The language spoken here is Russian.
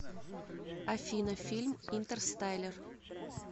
афина фильм интер стайлер